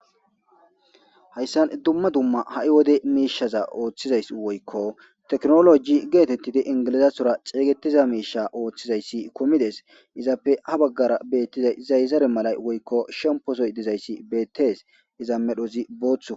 Hayssan dumma dumma ha'i wode miishaza ooththizay woykko teknoloji geetettidi ingilizatora xeeygetiza miisha ooththiza issi kumi des. Izappe ha baggara beettiza zazare malay woykko shempozoy diza issi beettes. Iza meray bootha.